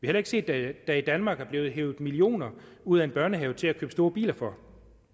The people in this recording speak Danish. heller ikke set at der i danmark er blevet hevet millioner ud af en børnehave til at købe store biler for